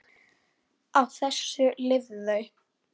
Á þessu lifðu þau.